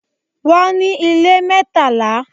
Wọ́n ní ilé mẹ́tàlá.